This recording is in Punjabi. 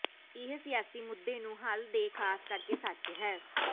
ਇਹ ਸਿਆਸੀ ਮੁੱਦੇ ਨੂੰ ਹੱਲ ਦੇ ਖਾਸ ਕਰਕੇ ਸੱਚ ਹੈ